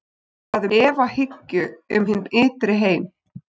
Þá er talað um efahyggju um hinn ytri heim.